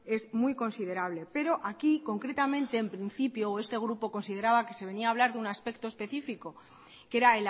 es muy considerable pero aquí concretamente en principio o este grupo consideraba que se venía a hablar de un aspecto específico que era